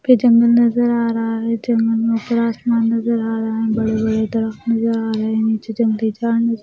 फे जंगल नज़र आ रहा है जंगल में ऊपर आसमान नज़र आ रहा है बड़े बड़े दरख्त नज़र आ रहे हैं नीचे जंगली जानवर --